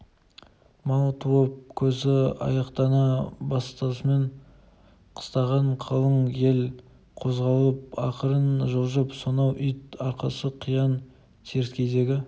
мал туып қозы аяқтана бастасымен қыстаған қалың ел козғалып ақырын жылжып сонау ит аркасы қиян теріскейдегі